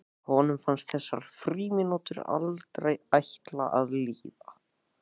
Honum fannst þessar frímínútur aldrei ætla að líða.